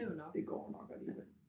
Det går nok alligevel